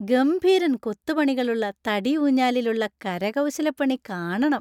ഗംഭീരന്‍ കൊത്തുപണികളുള്ള തടി ഊഞ്ഞാലിൽ ഉള്ള കരകൗശലപ്പണി കാണണം!